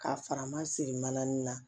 K'a fara ma siri mananin na